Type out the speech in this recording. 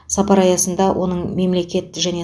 сапар аясында оның мемлекет және